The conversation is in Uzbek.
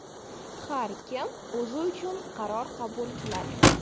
Har kim o‘zi uchun qaror qabul qiladi.